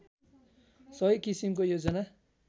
सही किसिमको योजना